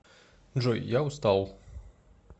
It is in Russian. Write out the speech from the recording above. джой я устал